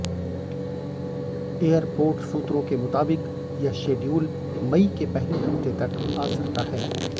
airport सूत्रों के मुताबिक यह शेड्यूल मई के पहले हफ्ते तक आ सकता है